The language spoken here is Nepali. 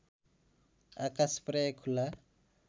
आकास प्रायः खुला